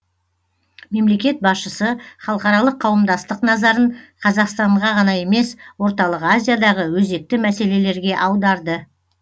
мемлекет басшысы халықаралық қауымдастық назарын қазақстанға ғана емес орталық азиядағы өзекті мәселелерге аударды